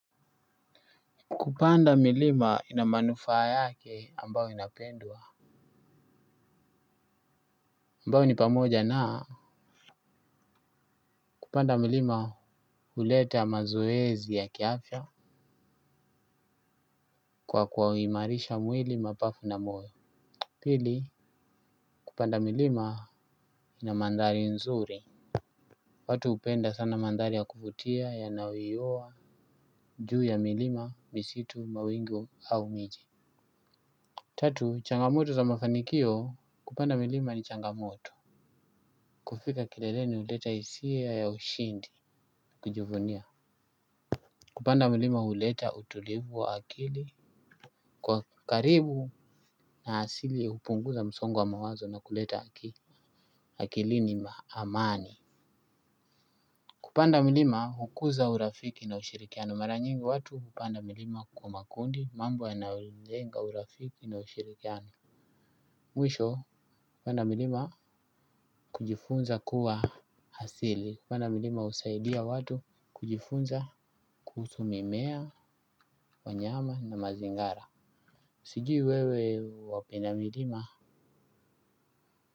Kupanda milima ina manufaa yake ambao inapendwa. Ambao ni pamoja naa. Kupanda milima uleta mazoezi ya kiafya. Kwa kwaumarisha mwili mapafu na moyo. Pili. Kupanda milima ina mandhali nzuri. Watu upenda sana mandhali ya kufutia yanawiyowa juu ya milima misitu mawingu au miji. Tatu. Changamoto za mafanikio kupanda milima ni changamoto. Kufika kileleni uleta isia ya ushindi. Kujifunia kupanda milima huleta utulivu wa akili. Kwa karibu na hasili hupunguza msongo wa mawazo na kuleta akilini maamani. Kupanda milima hukuza urafiki na ushirikiano. Maranyingi watu hupanda milima kwa makundi. Mambo yanaojenga urafiki na ushirikiano. Mwisho kupanda milima kujifunza kuwa hasili kupanda milima usaidia watu kujifunza kuhusu mimea wanyama na mazingara. Sijui wewe wapenda milima.